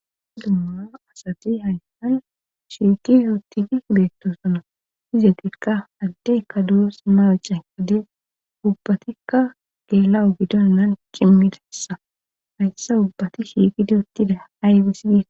Dumma asati hayssan shiitis uuttigi beettosona izetikka haddekka duros mawuce wade ubbatikka geela'o gidonnan qimilessa hayssa ubbati hiiqidi uttida aaybis gi..